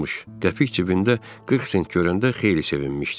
Qəpik cibində 40 sent görəndə xeyli sevinmişdi.